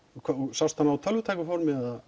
sástu hana á tölvutæku formi eða